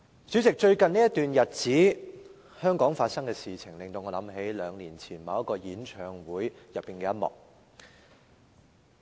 主席，最近這段日子，香港發生的事情令我想起兩年前某個演唱會的其中一幕。